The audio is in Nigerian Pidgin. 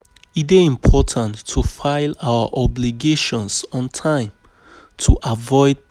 E dey important to file our obligations on time to avoid penalties from government.